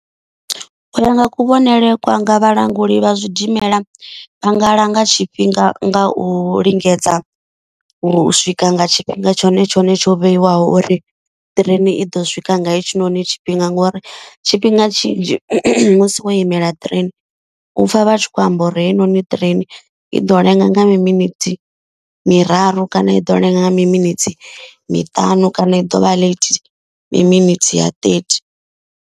U ya nga kuvhonele kwanga vhalanguli vha zwidimela vha nga langa tshifhinga nga u lingedza u swika nga tshifhinga tshone tshone tsho vheiwaho. Uri ṱireni i ḓo swika nga hetshinoni tshifhinga ngori tshi tshifhinga tshinzhi musi wo imela train. Upfa vha tshi khou amba uri heyinoni train i ḓo lenga nga minithi miraru kana i ḓo lenga nga mi minithi miṱanu kana i ḓovha late mi minetse ya ṱethi.